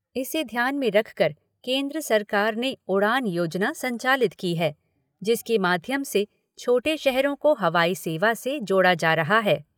इसे ध्यान में रखकर केन्द्र सरकार ने ' उड़ान ' योजना संचालित की है, जिसके माध्यम से छोटे शहरों को हवाई सेवा से जोड़ा जा रहा है।